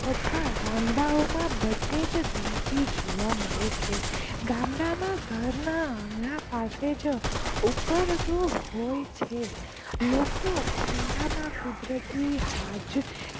તથા ગામડાઓમાં બધેજ ગંદકી જોવા મળે છે ગામડામાં ઘરના આગળ પાસેજ ઉકરડો હોય છે લોકો ખુલ્લામાંજ કુદરતી હાજ